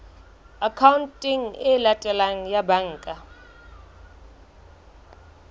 akhaonteng e latelang ya banka